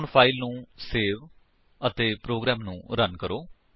ਹੁਣ ਫਾਇਲ ਨੂੰ ਸੇਵ ਕਰੋ ਅਤੇ ਪ੍ਰੋਗਰਾਮ ਨੂੰ ਰਨ ਕਰੋ